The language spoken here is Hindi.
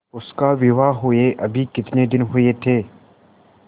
उसका विवाह हुए अभी कितने दिन हुए थे